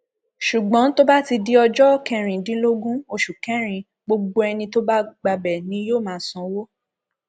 ṣùgbọn tó bá ti di ọjọ kẹrìndínlógún oṣù kẹrin gbogbo ẹni tó bá gbabẹ ni yóò máa sanwó